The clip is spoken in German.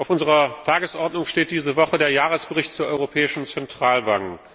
Auf unserer Tagesordnung steht diese Woche der Jahresbericht zur Europäischen Zentralbank.